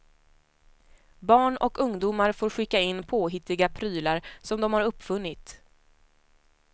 Barn och ungdomar får skicka in påhittiga prylar som de har uppfunnit.